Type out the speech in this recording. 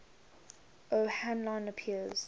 o hanlon appears